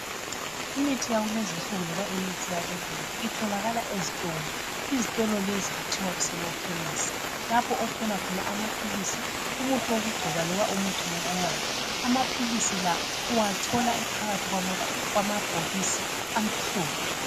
Imithi yakulezi insuku loba imithi yabelungu itholakala ezitolo. Izitolo lezi kuthiwa kusekhemesi lapho othola khona amaphilisi, umuthi wokugcoba loba owokunatha. Amaphilisi la uwathola ephakathi kwamabhokisi amhlophe.